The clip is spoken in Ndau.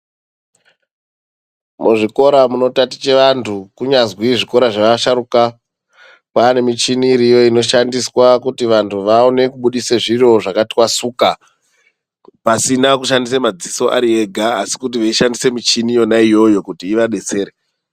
Muzvikora munotatiche antu munyazwi muzvikora zveasharuka. Kwane michini iriyo inoshandiswa kuti vantu vaone kubudise zviro zvakatwasuka. Pasina kushandisa madziso ari ega asi kuti veishandise michini yona iyoyo kuti ivabetsere.